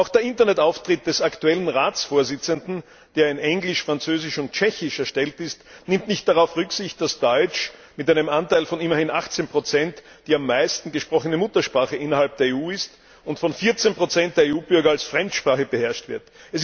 Auch der Internetauftritt des aktuellen Ratsvorsitzenden, der auf Englisch, Französisch und Tschechisch erstellt ist, nimmt nicht darauf Rücksicht, dass Deutsch mit einem Anteil von immerhin 18 die am meisten gesprochene Muttersprache innerhalb der EU ist und von 14 der EU Bürger als Fremdsprache beherrscht wird.